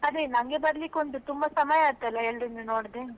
ಅದೇ ನಂಗೆ ಬರ್ಲಿಕ್ಕುಂಟು ತುಂಬಾ ಸಮಯ ಆಯ್ತಲ್ಲ ಎಲ್ರನ್ನು ನೋಡದೆ.